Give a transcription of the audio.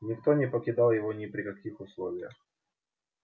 никто не покидал его ни при каких условиях